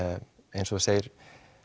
eins og þú segir